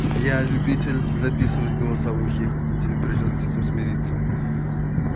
я любитель записывать голосовухи и тебе придётся с этим смириться